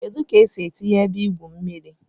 Kedu ka esi etinye ebe igwu mmiri?